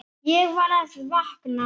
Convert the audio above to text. Ég var að vakna.